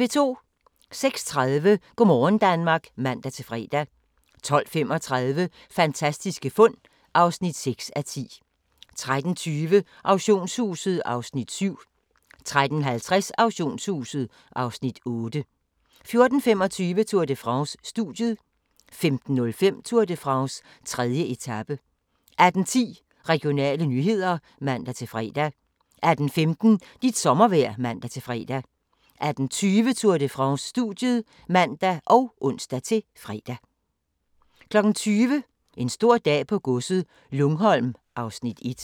06:30: Go' morgen Danmark (man-fre) 12:35: Fantastiske fund (6:10) 13:20: Auktionshuset (Afs. 7) 13:50: Auktionshuset (Afs. 8) 14:25: Tour de France: Studiet 15:05: Tour de France: 3. etape 18:10: Regionale nyheder (man-fre) 18:15: Dit sommervejr (man-fre) 18:20: Tour de France: Studiet (man og ons-fre) 20:00: En stor dag på godset - Lungholm (Afs. 1)